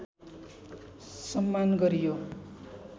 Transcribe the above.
सम्मान गरियो